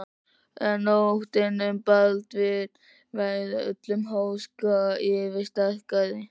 En óttinn um Baldvin varð öllum háska yfirsterkari.